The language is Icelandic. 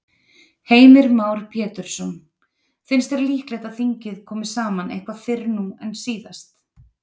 Heimir Már Pétursson: Finnst þér líklegt að þingið komi saman eitthvað fyrr nú en síðast?